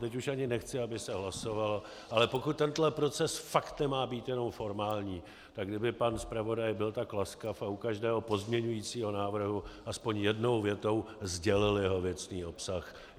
Teď už ani nechci, aby se hlasovalo, ale pokud tento proces fakt nemá být jenom formální, tak kdyby pan zpravodaj byl tak laskav a u každého pozměňovacího návrhu aspoň jednou větou sdělil jeho věcný obsah.